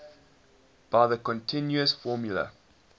by the continuous formula